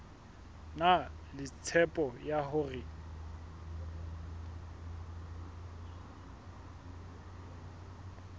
na le tshepo ya hore